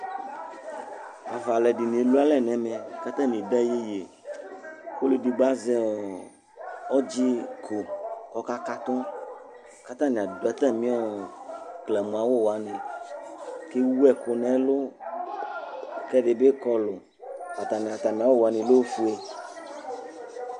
Ava alʋɛdìní emla alɛ nʋ ɛmɛ kʋ atani ade yeyi Ɔlʋɛdigbo azɛ ɔdzi kʋ ɔka katu Atani adu atami klamu awu wani Ɛwu ɛku nʋ ɛlu kʋ ɛdí bi Kɔlu Atami wani lɛ ɔfʋe